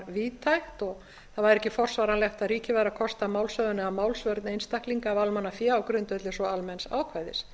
víðtækt og það væri ekki forsvaranlegt að ríkið væri að kosta málshöfðun eða málsvörn einstaklinga af almannafé á grundvelli svo almenns ákvæðis